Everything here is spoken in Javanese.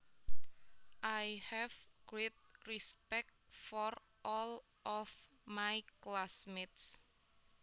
I have great respect for all of my classmates